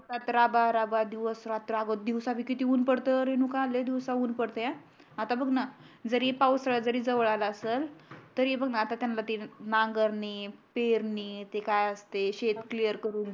सतरा बारा बा दिवस रात्र आता दिवसा बी किती ऊन पडत रेणुका लय दिवसा ऊन पाड्तेय आता बघ ना जरी पावसाळा जवळ आला असण तरी त्यांना नागरणि पेरणी ते काय असते शेत क्लियर करून घेण